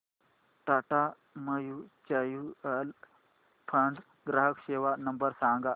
Tata mutual fund ग्राहक सेवा नंबर सांगा